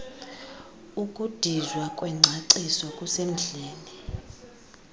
ukudizwa kwengcaciso kusemdleni